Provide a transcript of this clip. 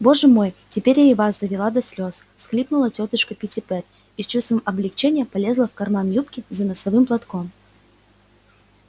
боже мой теперь я и вас довела до слез всхлипнула тётушка питтипэт и с чувством облегчения полезла в карман юбки за носовым платком